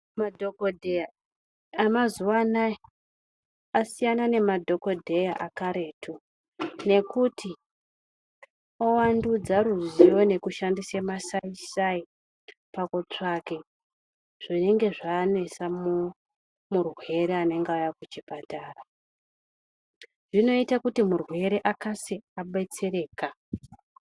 Madhokodheya amazuwa anaya asiyana nemadhokodheya akaretu, nekuti owandudza ruziwo nekushandise masaisai pakutsvake zvinenge zvanesa murwere anenge auya kuchipatara. Zvinoite kuti murwere akase abetsereka.